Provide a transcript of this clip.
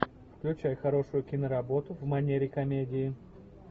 включай хорошую киноработу в манере комедии